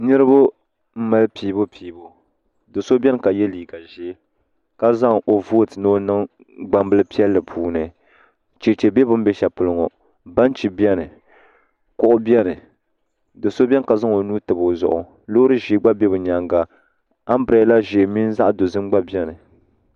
Do'so biɛni ka ye liiga ʒee ka zaŋ o voti ni o niŋ gbambili puuni cheche be bini be sheli polo ŋɔ benchii biɛni kuɣu biɛni do'so biɛni ka zaŋ o nuu tabi o zuɣu loori ʒee gba be bɛ nyaanga ambrada ʒee mini zaɣa dozim gba biɛni.